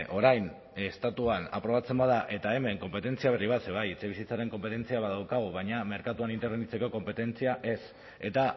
orain estatuan aprobatzen bada eta hemen konpetentzia berri bat ze bai etxebizitzaren konpetentzia badaukagu baina merkatuan interbenitzeko konpetentzia ez eta